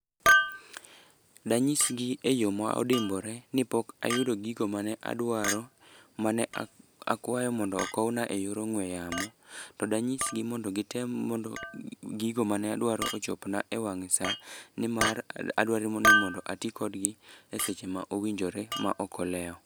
Danyis gi e yo ma odimbore ni pok ayudo gigo mane adwaro, mane a akwayo mondo okowna e yor ongúe yamo. To danyisgi mondo gitem mondo gigo mane adwaro ochop na e wang' sa. Ni mar adwaro ni mondo ati kodgi e seche ma owinjore ma ok olewo.